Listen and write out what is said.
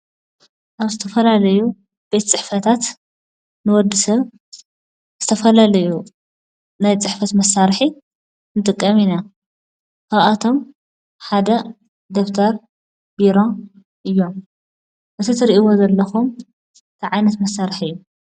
ኣብ ዝተፈላላዩ ቤት ፅሕፈታት ንወድሰብ ዝተፍላላዩ ናይ ፅሕፈት መሳርሒ ንጥቀም ኢና። ካብኣቶም ሓደ ደፍተር፣ ቢሮ እዮም። እቲ ትርእይዎ ዘለኩም እንታይ ዓይነት መሳርሒ እዩ?